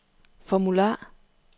formular